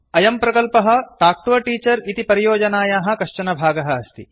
अयं प्रकल्पः talk to a teacher परियोजनायाः कश्चन भागः अस्ति